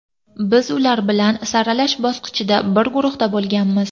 Biz ular bilan saralash bosqichida bir guruhda bo‘lganmiz.